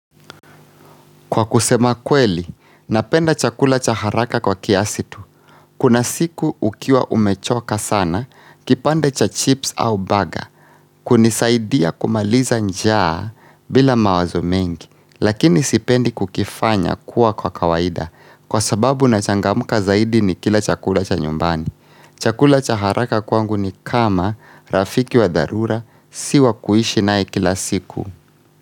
Kwa kusema kweli, napenda chakula cha haraka kwa kiasi tu. Kuna siku ukiwa umechoka sana, kipande cha chips au baga, hunisaidia kumaliza njaa bila mawazo mengi, lakini sipendi kukifanya kuwa kwa kawaida kwa sababu na changamka zaidi ni kila chakula cha nyumbani. Kuna siku ukiwa umechoka sana, kipande cha chips au baga, hunisaidia kumaliza njaa bila mawazo mengi, lakini sipendi kukifanya kuwa kwa kawaida kwa sababu na changamka zaidi nikila chakula cha nyumbani. Chakula cha haraka kwangu ni kama rafiki wa darura.